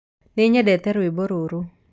Nĩnyendete rwĩmbo rũrũ.